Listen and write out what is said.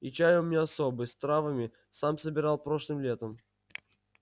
и чай у меня особый с травами сам собирал прошлым летом